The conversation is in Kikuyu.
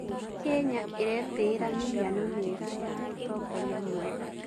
Kenya ĩretĩĩra mĩhiano mĩega ya ũtongoria mwega.